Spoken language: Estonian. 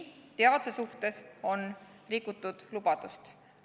Teaduse suhtes on rikutud lubadust.